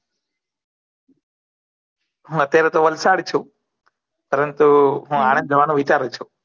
હુ અત્યારે તો વલ્સાદ છુ પરંતુ હુ આનંદ જવા નુ વિચારુ છુ